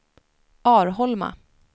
Arholma